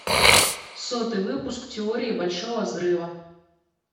сотый выпуск теории большого взрыва